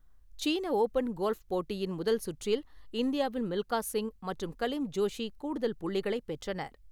சீன open golf போட்டியின் முதல் சுற்றில் இந்தியாவின் மில்கா சிங் மற்றும் கலிம் ஜோஷி கூடுதல் புள்ளிகளைப் பெற்றனர்.